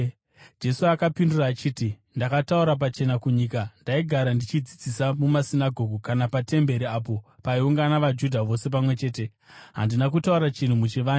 Jesu akapindura achiti, “Ndakataura pachena kunyika. Ndaigara ndichidzidzisa mumasinagoge kana patemberi, apo paiungana vaJudha vose pamwe chete. Handina kutaura chinhu muchivande.